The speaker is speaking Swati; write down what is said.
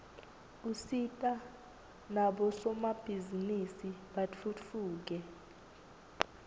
usita nabosomabhizinisi batfutfuke